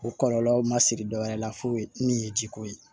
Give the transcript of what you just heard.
O kɔlɔlɔ ma siri dɔwɛrɛ la foyi min ye jiko ye